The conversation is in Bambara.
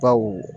Baw